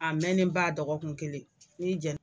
A mɛnenba dɔgɔkun kelen ni jɛna.